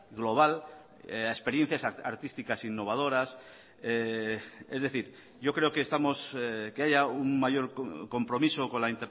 global a experiencias artísticas innovadoras es decir yo creo que estamos que haya un mayor compromiso con la